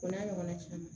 O n'a ɲɔgɔn na caman